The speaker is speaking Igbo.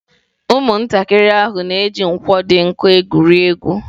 Ụmụntakịrị ahụ na-eji nkwọ ahụ dị nkọ egwuri egwu.